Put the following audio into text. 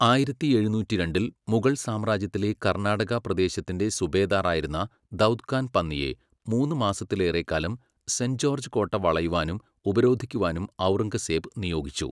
ആയിരത്തി എഴുനൂറ്റിരണ്ടിൽ, മുഗൾ സാമ്രാജ്യത്തിലെ കർണാടകപ്രദേശത്തിൻ്റെ സുബേദാറായിരുന്ന ദൗദ് ഖാൻ പന്നിയെ, മൂന്ന് മാസത്തിലേറെക്കാലം സെൻറ്റ് ജോർജ്ജ് കോട്ട വളയുവാനും ഉപരോധിക്കുവാനും ഔറംഗസേബ് നിയോഗിച്ചു.